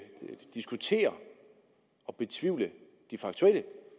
diskutere og betvivle de faktuelle